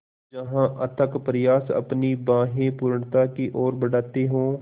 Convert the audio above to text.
जहाँ अथक प्रयास अपनी बाहें पूर्णता की ओर बढातें हो